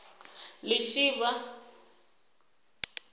lishivha